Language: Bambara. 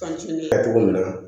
kɛ cogo min na